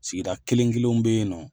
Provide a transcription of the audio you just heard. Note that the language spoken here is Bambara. Sigida kelen kelenw be yen nɔ